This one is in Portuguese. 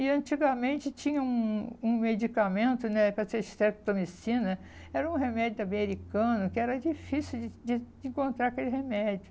E antigamente tinha um um medicamento né para ser estereotomicina, era um remédio americano, que era difícil de de de encontrar aquele remédio.